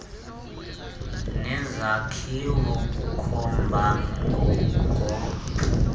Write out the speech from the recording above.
nezakhiwo ukukhomba ngompu